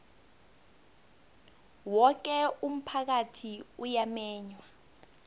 woke umphakathi uyamenywa